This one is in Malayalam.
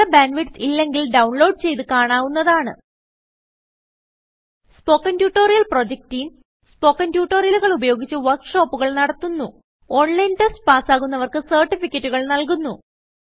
നല്ല ബാൻഡ് വിഡ്ത്ത് ഇല്ലെങ്കിൽ ഇതു ഡൌൺലോഡ് ചെയ്ത് കാണാവുന്നതാണ് spoken tutorial project team spoken ട്യൂട്ടോറിയലുകൾ ഉപയോഗിച്ച് വർക്ക് ഷോപ്പുകൾ നടത്തുന്നു ഓൺലൈൻ ടെസ്റ്റ് പാസ്സാകുന്നവർക്ക് സർട്ടിഫികറ്റുകൾ നല്കുന്നു